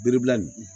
Bere bila nin